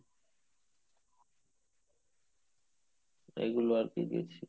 এইগুলো আরকি গেছি